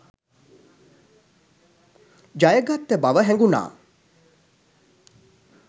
ජයගත්ත බව හැඟුණා.